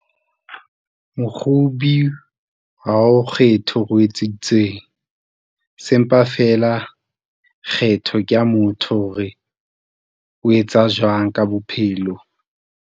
Mokgobi ha o kgethe hore o etseditsweng. Se mpa feela kgetho ke ya motho hore o etsa jwang ka bophelo.